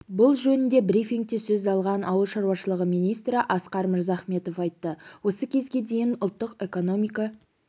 бұл жөнінде брифингте сөз алған ауыл шаруашылығы министрі асқар мырзахметов айтты осы кезге дейін ұлттық экономика